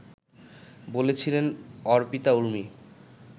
বলছিলেন অর্পিতা ঊর্মি